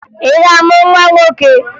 Ị ga-amụ nwa nwoke?